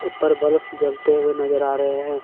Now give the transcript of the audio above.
ऊपर बलफ़ जलते हुए नजर आ रहे हैं।